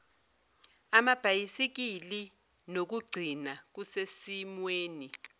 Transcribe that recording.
amabhayisikili nokukugcina kusesimweni